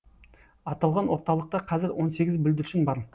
аталған орталықта қазір он сегіз бүлдіршін бар